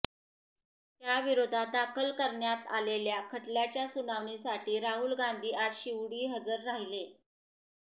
त्याविरोधात दाखल करण्यात आलेल्या खटल्याच्या सुनावणीसाठी राहुल गांधी आज शिवडी हजर राहिले